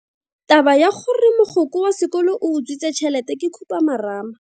Taba ya gore mogokgo wa sekolo o utswitse tšhelete ke khupamarama.